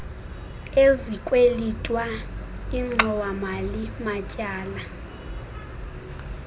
ezikwelitwa ingxowamali matyala